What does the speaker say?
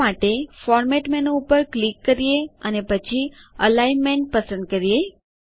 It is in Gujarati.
આ માટેFormat મેનું ઉપર ક્લિક કરીએ અને પછી Alignmentઅલાઈનમેન્ટ પસંદ કરીએ